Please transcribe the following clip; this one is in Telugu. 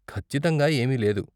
ఖచ్చితంగా ఏమీ లేదు.